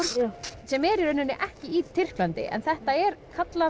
sem er í rauninni ekki í Tyrklandi en þetta er kallað